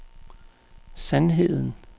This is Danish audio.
sandheden